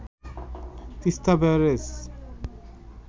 Teesta barrage